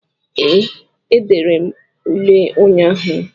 Ee, edere m ule ụnyaahụ